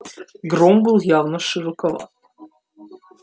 гром был явно широко